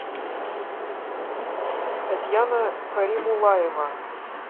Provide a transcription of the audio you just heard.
татьяна каримулаева